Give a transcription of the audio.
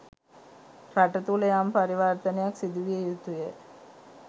රට තුළ යම් පරිවර්තනයක් සිදුවිය යුතුය.